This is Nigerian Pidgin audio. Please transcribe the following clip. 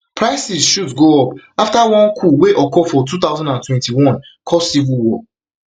prices shoot go up afta one coup wey occur for two thousand and twenty-one cause civil war